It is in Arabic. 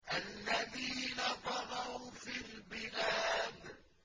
الَّذِينَ طَغَوْا فِي الْبِلَادِ